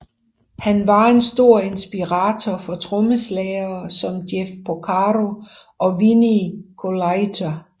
Han var en stor inspiration for trommeslagere som Jeff Porcaro og Vinnie Colaiuta